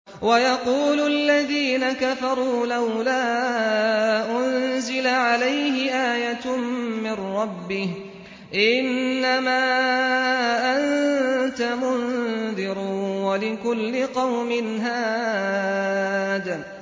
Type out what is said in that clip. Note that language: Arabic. وَيَقُولُ الَّذِينَ كَفَرُوا لَوْلَا أُنزِلَ عَلَيْهِ آيَةٌ مِّن رَّبِّهِ ۗ إِنَّمَا أَنتَ مُنذِرٌ ۖ وَلِكُلِّ قَوْمٍ هَادٍ